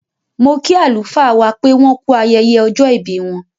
Mo kí àlùfáà wá pé wọ́n kú ayẹyẹ ọjọ́ ìbí wọ́n.